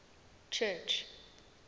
church